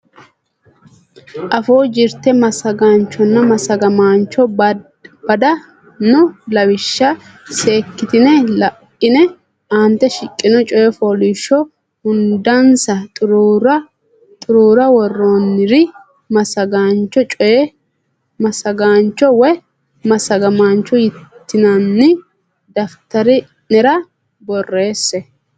Afuu Jirte Massagaanchonna Massagamaancho Bada noo lawishsha seekkitine la ine aante shiqqino coy fooliishsho hundansa xuruura worroonnire massagaancho woy massagamaancho yitinanni daftari nera borreesse.